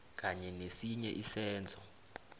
kanye nesinye isenzo